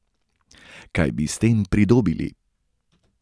Kaj bi s tem pridobili?